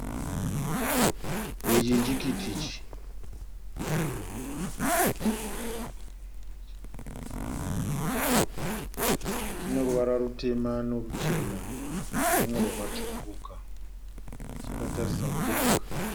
Ichi chikiti ichi. Chineruvara rutema neruchena, nerumwe rwakasvukuruka chakatarisa mudenga.